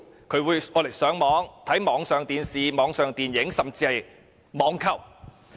他們會利用電視機上網、收看網上電視和電影，甚至進行網購。